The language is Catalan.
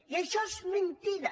i això és mentida